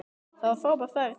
Það var frábær ferð.